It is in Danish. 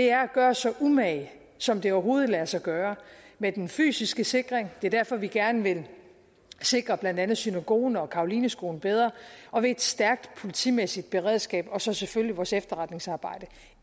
er at gøre os så umage som det overhovedet kan lade sig gøre med den fysiske sikring det er derfor vi gerne vil sikre blandt andet synagogen og carolineskolen bedre og med et stærkt politimæssigt beredskab og så selvfølgelig vores efterretningsarbejde